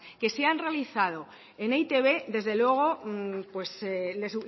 que se han realizado en e i te be desde luego le